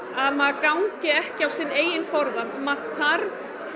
að maður gangi ekki á sinn eigin forða maður þarf